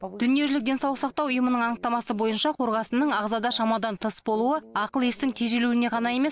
дүниежүзілік денсаулық сақтау ұйымының анықтамасы бойынша қорғасынның ағзада шамадан тыс болуы ақыл естің тежелуіне ғана емес